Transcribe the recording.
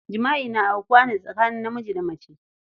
Jima'i na aukuwa ne tsakanin namiji da mace.